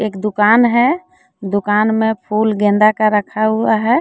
एक दुकान है दुकान में फूल गेंदा का रखा हुआ है।